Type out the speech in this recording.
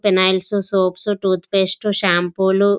phenyls soaps toothpaste షాంపూలు --